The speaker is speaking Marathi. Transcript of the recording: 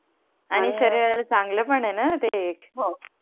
आणि शरीराला चांगल पण आहे णा ते एक